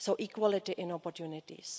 So equality in opportunities.